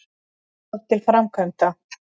Hvatt til framkvæmda